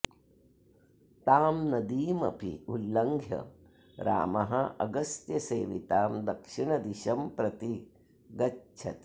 तां नदीम् अपि उल्लङ्घ्य रामः अगस्त्यसेवितां दक्षिणदिशं प्रति गच्छति